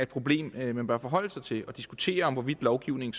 problem man bør forholde sig til og diskutere hvorvidt lovgivningen